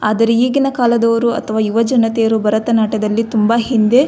ಆದರೆ ಈಗಿನ ಕಾಲದವರು ಅಥವಾ ಯುವಜನತೆಯರು ಭರತನಾಟ್ಯದಲ್ಲಿ ತುಂಬಾ ಹಿಂದೆ --